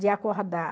De acordar.